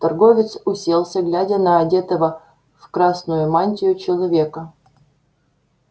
торговец уселся глядя на одетого в красную мантию человека